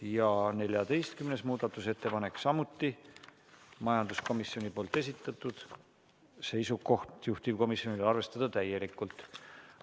Ja 14. muudatusettepanek, samuti majanduskomisjoni esitatud, seisukoht: arvestada täielikult.